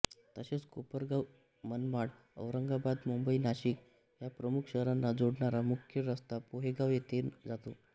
तसेच कोपरगाव मनमाडऔरंगाबाद मुंबई नाशिक ह्या प्रमुख शहराना जोडणारा मुख्य रस्ता पोहेगाव येथून जातो